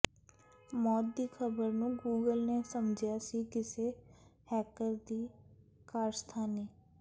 ਮੌਤ ਦੀ ਖ਼ਬਰ ਨੂੰ ਗੂਗਲ ਨੇ ਸਮਝਿਆ ਸੀ ਕਿਸੇ ਹੈਕਰ ਦੀ ਕਾਰਸਥਾਨੀ